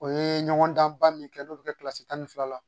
O ye ɲɔgɔndanba min kɛ n'o bɛ kɛ kilasi tan ni fila la